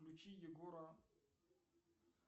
включи егора